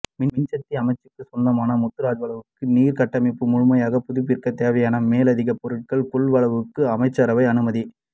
மின்சக்தி அமைச்சுக்கு சொந்தமான முத்துராஜவல நீர் கட்டமைப்பை முழுமையாக புதுப்பிப்பதற்கு தேவையான மேலதிக பொருள்கள் கொள்வனவுக்கு அமைசச்ரவை அனுமதி